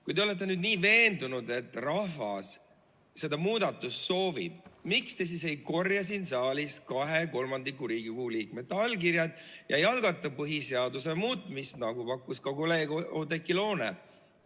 Kui te olete nii veendunud, et rahvas seda muudatust soovib, siis miks te ei korja siin saalis kahe kolmandiku Riigikogu liikmete allkirjad ega algata põhiseaduse muutmist, nagu pakkus ka kolleeg Oudekki Loone?